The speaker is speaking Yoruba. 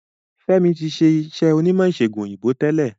F'emi tí ṣe iṣé onímò ìsègùn òyìnbó tẹlẹ